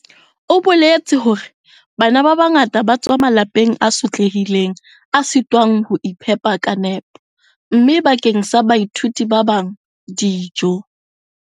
O boletse hore bana ba bangata ba tswa malapeng a sotlehileng a sitwang ho iphepa ka nepo, mme bakeng sa baithuti ba bang dijo.